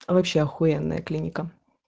а вообще ахуенная клиника